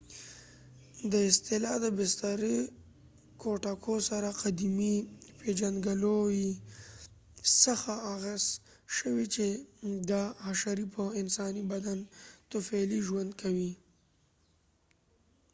دا اصطلاح د بسترې کوټکو سره قدیمې پېژندګلوۍ څخه اخذ شوې چې دا حشرې په انساني بدن طفیلي ژوند کوي